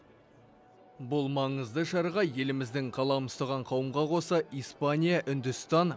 бұл маңызды шараға еліміздің қалам ұстаған қауымға қоса испания үндістан